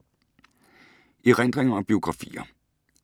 Erindringer og biografier